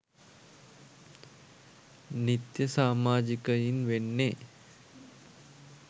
නිත්‍ය සාමාජිකයින් වෙන්නේ.